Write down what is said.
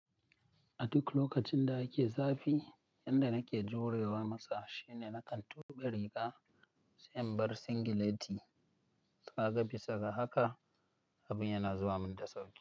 A duk lokacin da ake zafi, yanda nake jurewa masa shine nakan tuɓe riga, sai na bar singileti. Ka ga, bisa ga haka, abin yana zuwa min da sauƙi.